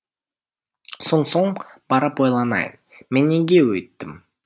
сонсоң барып ойланайын мен неге өйттім